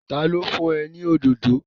Ta ló fún ẹ ní òdòdó?